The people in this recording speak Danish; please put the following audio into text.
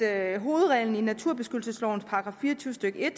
at hovedreglen i naturbeskyttelseslovens § fire og tyve stykke